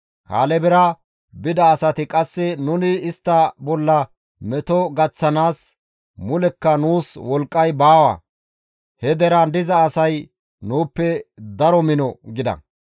Kaalebera bida asati qasse, «Nuni istta bolla meto gaththanaas mulekka nuus wolqqay baawa; he deraan diza asay nuuppe daro mino» gida.